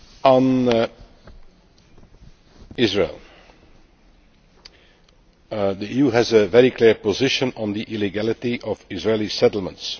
On Israel, the EU has a very clear position on the illegality of Israeli settlements.